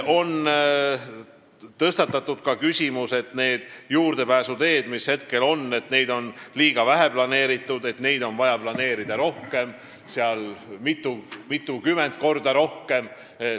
On tõstatatud ka küsimus, et juurdepääsuteid on planeeritud liiga vähe ja neid on vaja rohkem, mitukümmend korda rohkem.